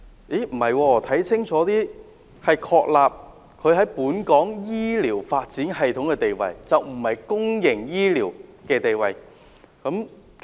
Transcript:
但是，看清楚一點，原來只是確立它在本港醫療發展的地位，而並非公營醫療的地位。